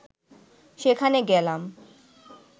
সেখানে গেলাম